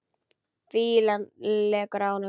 Fýlan lekur af honum.